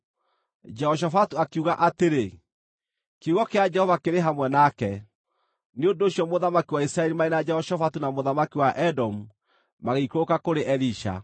Jehoshafatu akiuga atĩrĩ, “Kiugo kĩa Jehova kĩrĩ hamwe nake.” Nĩ ũndũ ũcio mũthamaki wa Isiraeli marĩ na Jehoshafatu na mũthamaki wa Edomu magĩikũrũka kũrĩ Elisha.